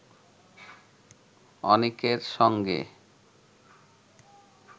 অনিকের সঙ্গে